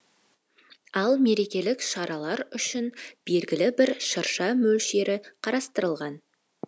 ал мерекелік шаралар үшін белгілі бір шырша мөлшері қарастырылған